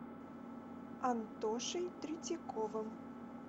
антошей третьяковым